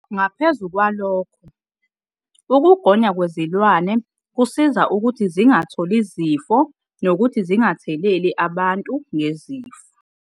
Ngaphezu kwalokho, ukugonywa kwezilwane kusiza ukuthi zingatholi izifo nokuthi zingatheleli abantu ngezifo.